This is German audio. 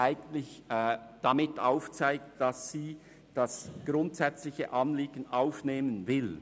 Damit zeigt sie, dass sie das grundsätzliche Anliegen aufnehmen will.